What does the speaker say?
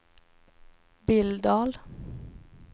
Billdal